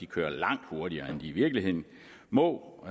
kører langt hurtigere end de i virkeligheden må